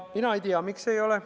Mina ei tea, miks ei ole.